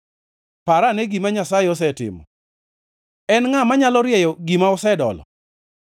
Parane gima Nyasaye osetimo: En ngʼa manyalo rieyo gima osedolo?